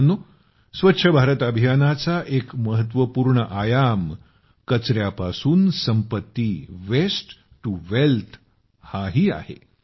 मित्रांनो स्वच्छ भारत अभियानाचा एक महत्वपूर्ण परिमाण कचर्यापासून संपत्तीवेस्ट टु वेल्थ हे ही आहे